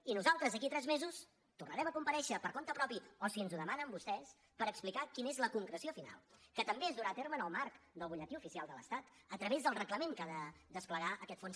i nosaltres d’aquí a tres mesos tornarem a comparèixer per compte propi o si ens ho demanen vostès per explicar quina és la concreció final que també es durà a terme en el marc del butlletí oficial de l’estat a través del reglament que ha de desplegar aquest fons